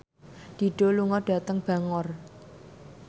Dido lunga dhateng Bangor